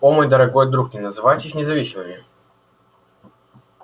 о мой дорогой друг не называйте их независимыми